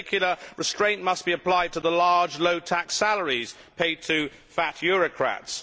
In particular, restraint must be applied to the large, low tax salaries paid to fat eurocrats.